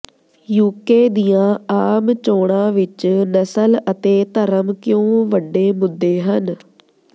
UK ਦੀਆਂ ਆਮ ਚੋਣਾਂ ਵਿੱਚ ਨਸਲ ਅਤੇ ਧਰਮ ਕਿਉਂ ਵੱਡੇ ਮੁੱਦੇ ਹਨ